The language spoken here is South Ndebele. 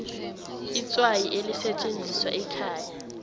itswayi elisetjenziswa ekhaya